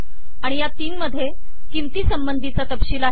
आणि या तीनमध्ये किंमतीसंबंधीचा तपशील आहे